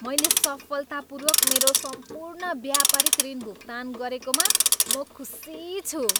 मैले सफलतापूर्वक मेरो सम्पूर्ण व्यापारिक ऋण भुक्तान गरेकोमा म खुसी छु।